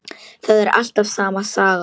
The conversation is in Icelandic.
Það er alltaf sama sagan.